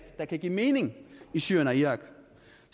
der kan give mening i syrien og irak